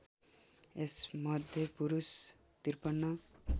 यसमध्ये पुरुष ५३